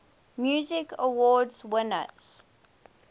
music awards winners